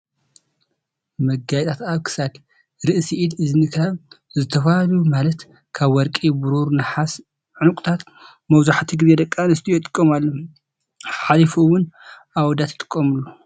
መጋየፂታት ኣብ ክሳድ ፣ርእሲ፣ ኢድ ፣እዝኒ ካብ ዝተፈላለዩ ማለት ካብ ወርቂ ፣ብሩር፣ ነሓስን ዕንቁን መብዛሕቲኡ ግዜ ደቂ ኣንስትዮ ይጥቀማሉ። ሓሊፊ ሓሊፉ እውንኣብ ኣወዳት ይጥቀሙሉ።